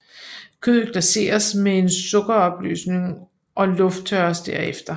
Kødet glaseres med en sukkeropløsning og lufttørres derefter